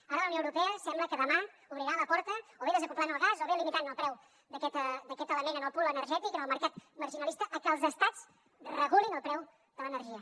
ara la unió europea sembla que demà obrirà la porta o bé desacoblant el gas o bé limitant el preu d’aquest element en el pool energètic en el mercat maximalista perquè els estats regulin el preu de l’energia